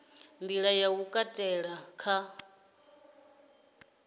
nḓila ya u katela kha